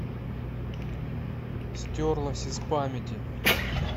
стерлось из памяти